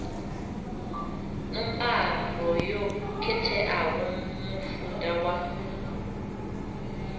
ṋombaro yo khetheaho mufuda wa